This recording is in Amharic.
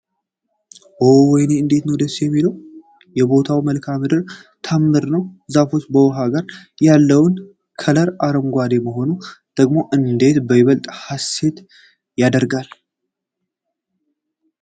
ኦ ወይኔ እንዴት ነው ደስ የሚለው የቦታው መልክዐ ምድር ታምር ነው ፤ ዛፉ ከውኃው ጋር ያለው ከለር አረንጓዴ መሆኑ ደግሞ እንዴት በይበልጥ ሐሴት ያስደርጋል።